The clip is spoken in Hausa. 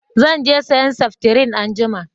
Zan je sayan sefitirin anjima